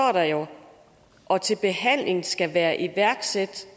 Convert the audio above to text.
og til behandlingen skal være iværksat